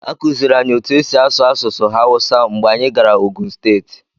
A kụziiri anyị otú e si asụ asụsụ hausa mgbe anyị gara Ogun steeti.